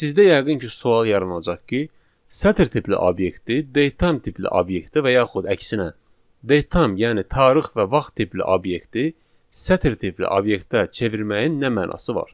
Sizdə yəqin ki, sual yaranacaq ki, sətr tipli obyekti datetime tipli obyektə və yaxud əksinə, datetime, yəni tarix və vaxt tipli obyekti sətr tipli obyektə çevirməyin nə mənası var?